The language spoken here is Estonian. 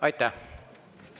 Aitäh!